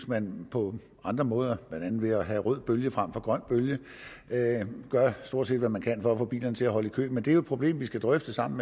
man på andre måder blandt andet ved at have rød bølge frem for grøn bølge gør stort set hvad man kan for at få bilerne til at holde i kø men det er jo et problem vi skal drøfte sammen